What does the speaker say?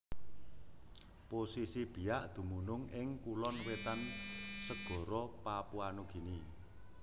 Posisi Biak dumunung ing Kulon Wetan segara Papua Nugini